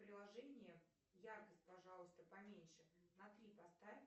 приложение яркость пожалуйста поменьше на три поставь